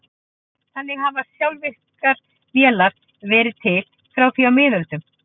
Þannig hafa sjálfvirkar vélar verið til frá því á miðöldum.